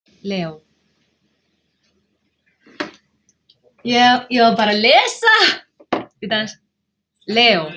Leó